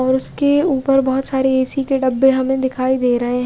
और उसके ऊपर बोहोत सारे ए_ सी के डब्बे हमे दिखाई दे रहे है।